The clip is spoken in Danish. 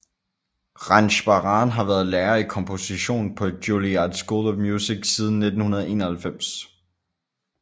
Ranjbaran har været lærer i komposition på Juilliard School of Music siden 1991